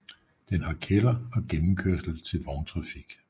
Den har kælder og gennemkørsel til vogntrafik